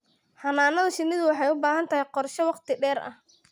Xannaanada shinnidu waxay u baahan tahay qorshe wakhti dheer ah.